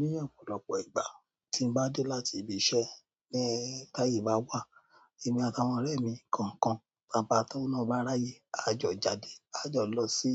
Ní ọ̀pọ̀lọpọ̀ ìgbà tí n bá dé láti ibi iṣẹ́ táye bá wà, èmi àtàwọn ọ̀rẹ́ mi kọ̀ọ̀kan bàba tí ohun nà bá ráyè, a jọ jáde, a jọ lọ sí